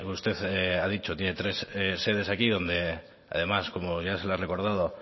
usted ha dicho tiene tres sedes aquí donde además como bien se lo ha recordado